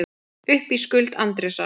Upp í skuld Andrésar